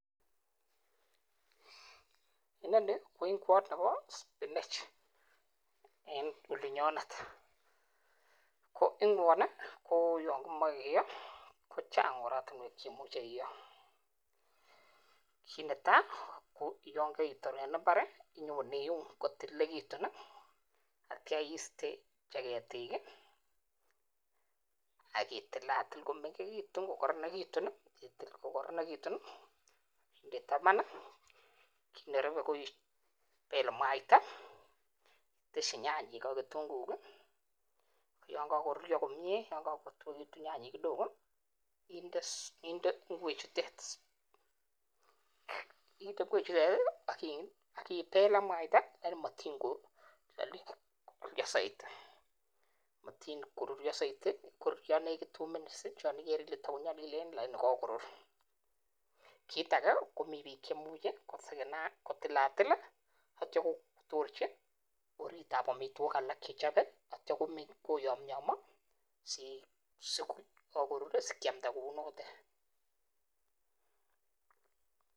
Inoni ko ingwot nebo spinach en olinyonetKo ingwoni yon kimoche kiyoo, kochang oratinwek cheimuche iyoo. Kit netai koyon koitor en imbar i,into iun kotililekitun, atyo istee Che keetik. Ak itilatil komengekitun kokoronekitun ,inde taaaban, nerube ko ibel mwaita. Itesyii nyanyik ak kitunguik. Yon kokoruryoo komie, nyanyik ak kitunguik inde ingwechutet. inde ingwechutet ak ibel ak mwaita, lakini motin koruryoo soiti. Mktin koruryo soiti ingoruryoo nekit two minutes .Chon igere ile tokonyolileen lakini kokorur. Kitage komi biik chemuche kotilatil, ak kotorchi orit ab amitwogik alak chechobe, atyo koyomyomoo. Sikiamda kounotet ye kookorur.